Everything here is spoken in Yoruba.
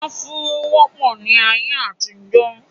afuró wọ́pọ̀ ní ayé àtijó